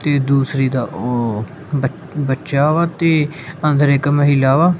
ਤੇ ਦੂਸਰੀ ਦਾ ਓਹ ਬਚ ਬੱਚਾ ਵਾ ਤੇ ਅੰਦਰ ਇੱਕ ਮਹਿਲਾ ਵਾ।